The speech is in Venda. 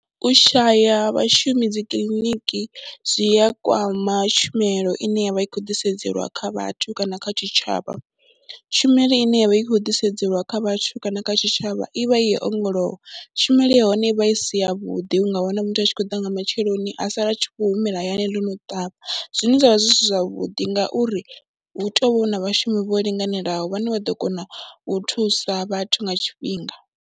U shaya ha vhashumi dzi kiḽiniki zwi ya kwama tshumelo ine ya vha i khou ḓisedzelwa kha vhathu kana kha tshitshavha, tshumelo ine ya vha i khou ḓisedzelwa kha vhathu kana kha tshitshavha i vha i ya u ongolowa. Tshumelo ya hone i vha i si yavhuḓi, u nga wana muthu a tshi khou ḓa nga matsheloni a sala a tshi khou humela hayani ḽo no ṱavha zwine zwa vha zwi si zwavhuḓi ngauri hu tou vha hu na vhashumi vho linganelaho vhane vha ḓo kona u thusa vhathu nga tshifhinga.